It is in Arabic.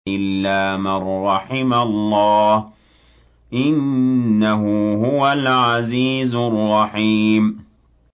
إِلَّا مَن رَّحِمَ اللَّهُ ۚ إِنَّهُ هُوَ الْعَزِيزُ الرَّحِيمُ